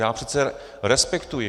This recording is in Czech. Já přece respektuji.